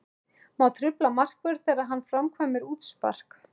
Má trufla markvörð þegar hann framkvæmir útspark?